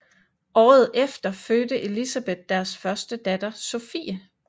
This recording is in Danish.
Året efter fødte Elisabeth deres første datter Sophie